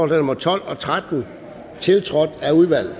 nummer tolv og tretten tiltrådt af udvalget